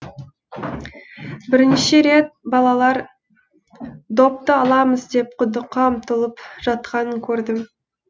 бірнеше рет балалар допты аламыз деп құдыққа ұмтылып жатқанын көрдім